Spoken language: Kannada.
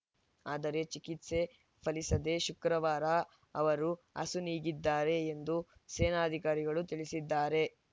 ಆದರೆ ಚಿಕಿತ್ಸೆ ಫಲಿಸದೇ ಶುಕ್ರವಾರ ಅವರು ಅಸುನೀಗಿದ್ದಾರೆ ಎಂದು ಸೇನಾ ಅಧಿಕಾರಿಗಳು ತಿಳಿಸಿದ್ದಾರೆ